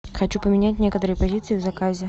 хочу поменять некоторые позиции в заказе